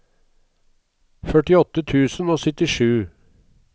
førtiåtte tusen og syttisju